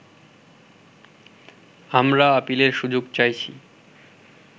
আমরা আপিলের সুযোগ চাইছি